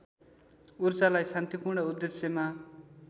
ऊर्जालाई शान्तिपूर्ण उद्देश्यमा